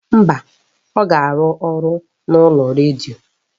Mba, ọ ga-arụ ọrụ n'ụlọọrụ redio